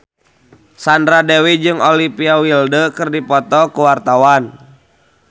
Sandra Dewi jeung Olivia Wilde keur dipoto ku wartawan